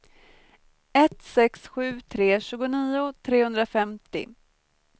ett sex sju tre tjugonio trehundrafemtio